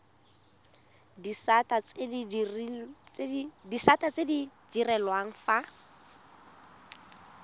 disata tse di direlwang fa